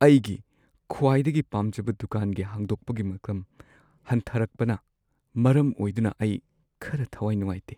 ꯑꯩꯒꯤ ꯈ꯭ꯋꯥꯏꯗꯒꯤ ꯄꯥꯝꯖꯕ ꯗꯨꯀꯥꯟꯒꯤ ꯍꯥꯡꯗꯣꯛꯄꯒꯤ ꯃꯇꯝ ꯍꯟꯊꯔꯛꯄꯅ ꯃꯔꯝ ꯑꯣꯏꯗꯨꯅ ꯑꯩ ꯈꯔ ꯊꯋꯥꯏ ꯅꯨꯡꯉꯥꯏꯇꯦ꯫